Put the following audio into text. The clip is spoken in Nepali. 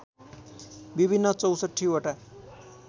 विभिन्न ६४ वटा